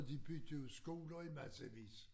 De byggede jo skoler i massevis